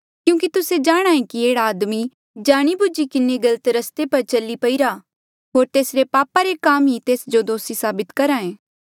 क्यूंकि तुस्से जाणहां ऐें कि एह्ड़ा आदमी जाणीबूझी किन्हें गलत रस्ते पर चली पईरा होर तेसरे पापा रे काम ही तेस जो दोसी साबित करी करहे